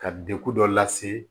Ka dekun dɔ lase